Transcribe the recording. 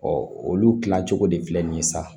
olu kila cogo de filɛ nin ye sisan